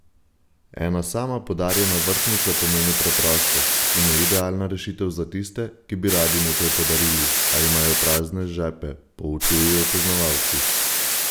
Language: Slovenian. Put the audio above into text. Ena sama podarjena vrtnica pomeni preprostost in je idealna rešitev za tiste, ki bi radi nekaj podarili, a imajo prazne žepe, poučujejo poznavalci.